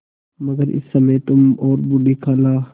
मगर इस समय तुम और बूढ़ी खाला